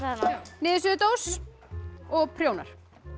niðursuðudós og prjónar